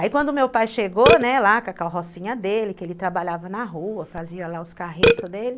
Aí quando o meu pai chegou, né, lá com a carrocinha dele, que ele trabalhava na rua, fazia lá os carretos dele.